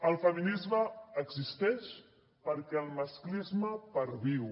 el feminisme existeix perquè el masclisme perviu